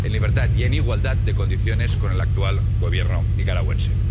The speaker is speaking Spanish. en libertad y en igualdad de condiciones con el actual Gobierno nicaragüense.